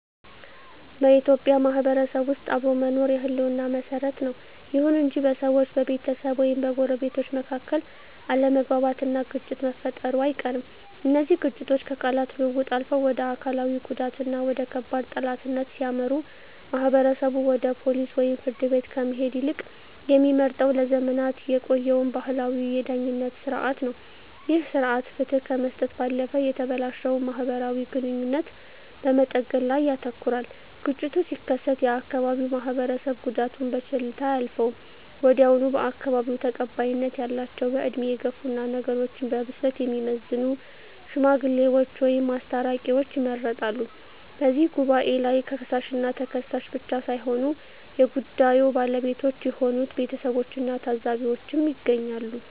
በኢትዮጵያ ማህበረሰብ ውስጥ አብሮ መኖር የህልውና መሰረት ነው። ይሁን እንጂ በሰዎች፣ በቤተሰብ ወይም በጎረቤቶች መካከል አለመግባባትና ግጭት መፈጠሩ አይቀርም። እነዚህ ግጭቶች ከቃላት ልውውጥ አልፈው ወደ አካላዊ ጉዳትና ወደ ከባድ ጠላትነት ሲያመሩ፣ ማህበረሰቡ ወደ ፖሊስ ወይም ፍርድ ቤት ከመሄድ ይልቅ የሚመርጠው ለዘመናት የቆየውን ባህላዊ የዳኝነት ሥርዓት ነው። ይህ ሥርዓት ፍትህ ከመስጠት ባለፈ የተበላሸውን ማህበራዊ ግንኙነት በመጠገን ላይ ያተኩራል። ግጭቱ ሲከሰት የአካባቢው ማህበረሰብ ጉዳዩን በቸልታ አያልፈውም። ወዲያውኑ በአካባቢው ተቀባይነት ያላቸው፣ በዕድሜ የገፉና ነገሮችን በብስለት የሚመዝኑ "ሽማግሌዎች" ወይም "አስታራቂዎች" ይመረጣሉ። በዚህ ጉባኤ ላይ ከሳሽና ተከሳሽ ብቻ ሳይሆኑ የጉዳዩ ባለቤቶች የሆኑት ቤተሰቦችና ታዘቢዎችም ይገኛሉ።